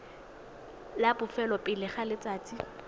la bofelo pele ga letsatsi